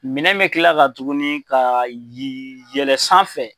Minɛn bɛ kila ka tuguni ka yɛlɛ sanfɛ.